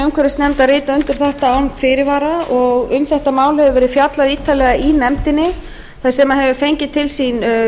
umhverfisnefndar rita undir þetta án fyrirvara og um þetta mál hefur verið fjallað ítarlega í nefndinni sem hefur fengið til sín